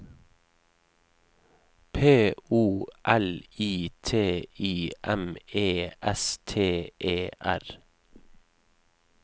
P O L I T I M E S T E R